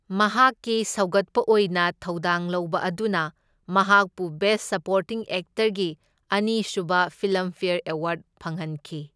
ꯃꯍꯥꯛꯀꯤ ꯁꯧꯒꯠꯄ ꯑꯣꯏꯅ ꯊꯧꯗꯥꯡ ꯂꯧꯕ ꯑꯗꯨꯅ ꯃꯍꯥꯛꯄꯨ ꯕꯦꯁ ꯁꯄꯣꯔꯇꯤꯡ ꯑꯦꯛꯇꯔꯒꯤ ꯑꯅꯤꯁꯨꯕ ꯐꯤꯜꯝꯐꯦꯑꯔ ꯑꯦꯋꯥꯔꯗ ꯐꯪꯍꯟꯈꯤ꯫